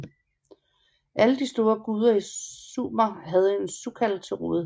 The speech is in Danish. Alle de store guder i Sumer havde en sukkal til rådighed